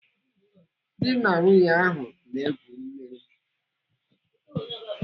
Dị na nwunye ahụ na-egwu mmiri.